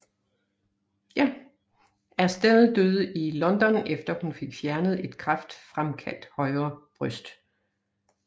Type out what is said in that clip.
Astell døde i London efter hun fik fjernet et kræftfremkaldt højre bryst